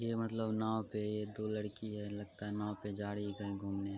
ये मतलब नाव पे एक दो लड़की है। लगता है नाव पे जा रही है कहीं घूमने।